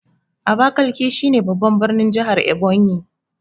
Abakiliki shi ne babban birnin jahar Ebonyi